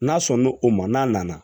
N'a sɔn n'o o ma n'a nana